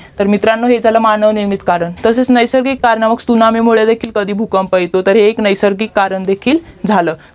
तर मित्रांनो हे झाल मानवनिर्मित कारण तसच नैसर्गिक कारणामुळे सुनामीमुळे देखील कधी भूकंप येतो तर हे एक नैसर्गिक करण देखील झाल